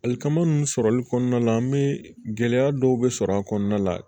Alili kama nunnu sɔrɔli kɔnɔna la an mi gɛlɛya dɔw be sɔrɔ a kɔnɔna la